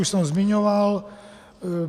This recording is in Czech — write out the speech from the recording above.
Už jsem je zmiňoval.